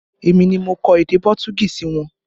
Èmi ni mo kọ èdè Pọtugí sí wọn